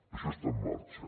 això està en marxa